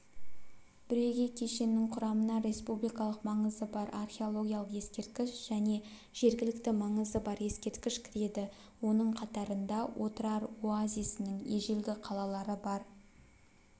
бірегей кешеннің құрамына республикалық маңызы бар археологиялық ескерткіш және жергілікті маңызы бар ескерткіш кіреді оның қатарында отырар оазисінің ежелгі қалалары бар